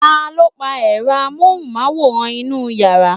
taló pa èro amóhùnmáwòrán inú yàrá?